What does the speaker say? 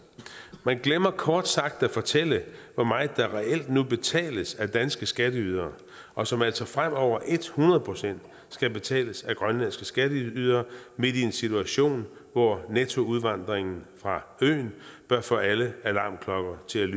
man glemmer kort sagt at fortælle hvor meget der reelt nu betales af danske skatteydere og som altså fremover hundrede procent skal betales af grønlandske skatteydere i en situation hvor nettoudvandringen fra øen bør få alle alarmklokker til at